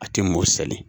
A tɛ mɔ sali